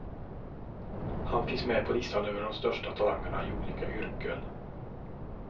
Han finns med på listan över de största talangerna i olika yrken.